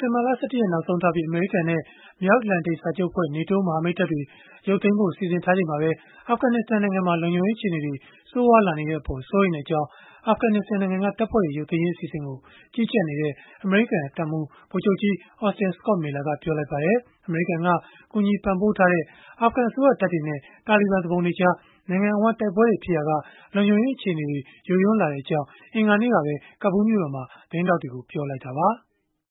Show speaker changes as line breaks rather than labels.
တင်ဘာလ ၁၁ ရက် နောက်ဆုံးထားပြီး အမေရိကန်နဲ့ မြောက်အတ္တလန်တိတ်စာချုပ်အဖွဲ့ မဟာမိတ်တပ်တွေ ရုပ်သိမ်းဖို့ စီစဉ်ထားချိန်မှာပဲ အာဖဂနစ္စတန်နိုင်ငံမှာ လုံခြုံရေး အခြေအနေတွေ ဆိုးရွားလာနေတဲ့အပေါ် စိုးရိမ်ကြောင်း အာဖဂနစ္စတန်နိုင်ငံက တပ်ဖွဲ့တွေ ရုပ်သိမ်းရေး အစီအစဉ်ကို ကြီးကြပ်နေတဲ့ အမေရိကန်တပ်မှူး ဗိုလ်ချုပ်ကြီး Austin Scott Miller ကပြောလိုက်ပါတယ်။ အမေရိကန်က ကူညီပံ့ပိုးထားတဲ့ အာဖဂန်အစိုးရတပ်တွေနဲ့ တာလီဘန် သူပုန်တွေကြား နိုင်ငံအဝန်း တိုက်ပွဲတွေ ဖြစ်ပွားနေရာက လုံခြုံရေး အခြေအနေတွေ ယိုယွင်းလာတဲ့အကြောင်း အင်္ဂါနေ့ကပဲ ကာဘူးလ် မြို့တော်မှာ သတင်းထောက်တွေကို ပြောလိုက်တာပါ။ “